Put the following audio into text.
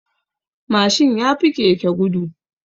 Mashin yafi keke gudu.